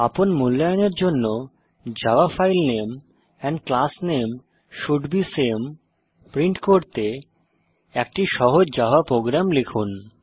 আপন মূল্যায়নের জন্য জাভা ফাইল নামে এন্ড ক্লাস নামে শোল্ড বে সামে প্রিন্ট করতে একটি সহজ জাভা প্রোগ্রাম লিখুন